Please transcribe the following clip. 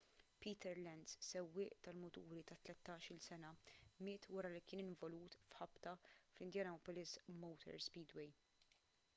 peter lenz sewwieq tal-muturi ta' 13-il sena miet wara li kien involut f'ħabta fl-indianapolis motor speedway